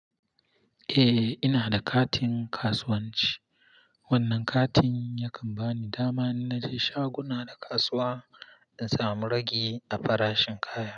Eh ina da katin kasuwanci. Wannan katin yakan bani dama in na je shaguna na kasuwa, in samu ragi a farashin kaya.